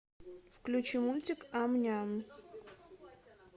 включи мультик ам ням